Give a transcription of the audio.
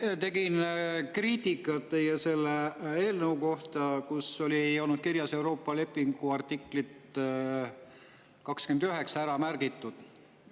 Ma tegin kriitikat teie eelnõu kohta, kus ei olnud Euroopa lepingu artiklit 29 ära märgitud.